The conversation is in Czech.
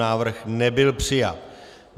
Návrh nebyl přijat.